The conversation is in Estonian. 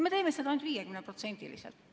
Me teeme seda ainult 50%-liselt.